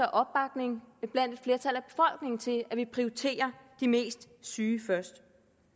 og opbakning til at vi prioriterer de mest syge først